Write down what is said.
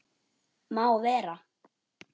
Má vera.